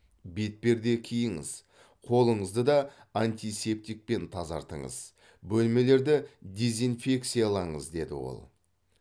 бетперде киіңіз қолыңызды да антисептикпен тазартыңыз бөлмелерді дезинфекциялаңыз деді ол